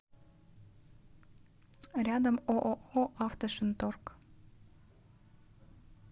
рядом ооо автошинторг